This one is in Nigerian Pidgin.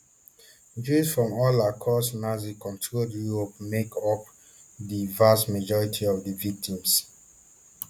jews from all across nazicontrolled europe make up di vast majority of di victims